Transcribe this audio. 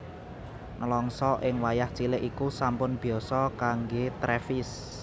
Nèlangsa ing wayah cilik iku sampun biyasa kanggé Travis